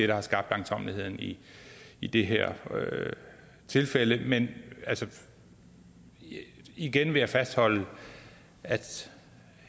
der har skabt langsommeligheden i i det her tilfælde men igen vil jeg fastholde at